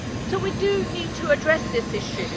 So we do need to address this issue.